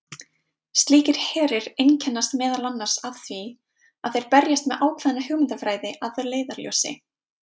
Slíkir herir einkennast meðal annars af því að þeir berjast með ákveðna hugmyndafræði að leiðarljósi.